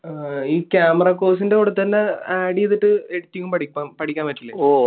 ഈ camera course ന്റെ കൂടെത്തന്നെ ഏർ add ചെയ്തിട്ട് editing പഠിക്കാൻ പറ്റില്ലേ?